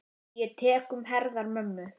Ég tek um herðar mömmu.